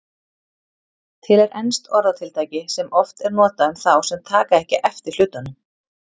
Til er enskt orðatiltæki sem oft er notað um þá sem taka ekki eftir hlutunum.